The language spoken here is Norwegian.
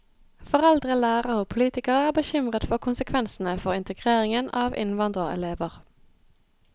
Foreldre, lærere og politikere er bekymret for konsekvensene for integreringen av innvandrerelever.